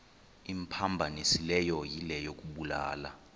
imphambanisileyo yile yokubulala